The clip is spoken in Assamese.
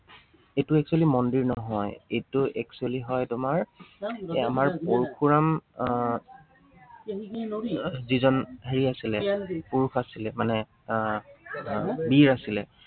এইটো actually মন্দিৰ নহয়, এইটো actually হয় তোমাৰ এই আমাৰ পৰশুৰাম আহ যিজন হেৰি আছিলে, পুৰুষ আছিলে, মানে আহ আহ যিজন বীৰ আছিলে